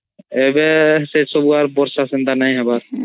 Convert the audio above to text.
ଏବେ ସେସବୁ ବର୍ଷା ଆଉ ସେନ୍ତା ନଇ ହବାର୍